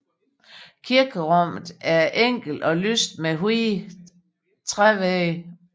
Kirkerummet er enkelt og lyst med hvide trævægge